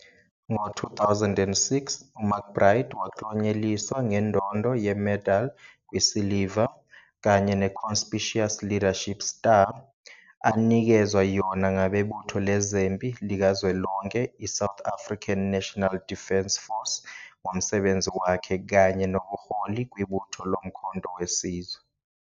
Ngo-2006, uMcBride waklonyeliswa ngendondo ye-Medal in Silver and the Conspicious Leadership Star, anikezwa yona ngabebutho lezempi likazwelonke i-South African National Defence Force ngomsebenzi wakhe kanye nobuholi kwibutho loMkhonto We Sizwe.